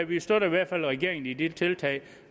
vi støtter i hvert fald regeringen i de tiltag